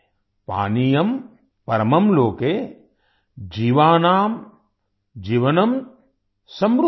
पानियम् परमम् लोके जीवानाम् जीवनम् समृतम्